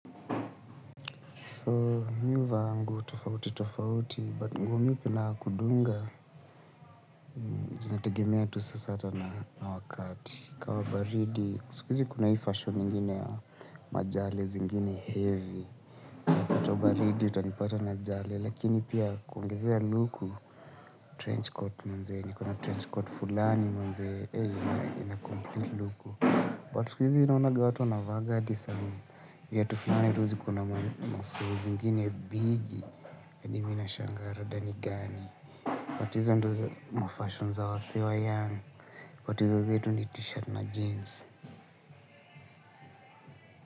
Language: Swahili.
So, mimi huvaa nguo tofauti tofauti, but nguo mingi unapodunga. Zinategemea tu saa na wakati. Kama baridi, siku kuna hii fasheni ingini ya majale zingine heavy. Wakati wa baridi, utunipata na jale, lakini pia kuongizea luku. Trenchcoat mwanzeni, kuna trenchcoat fulani mwanzeni, ina complete luku But siku izi, naonaga watu wanavaaga viatu fulani ruzi kuna masu zingine bigi. Hadi hivi nashangaa rada ni gani. But hizo ndizo mafashion za wasee wa young But hizo zetu ni t-shirt na jeans.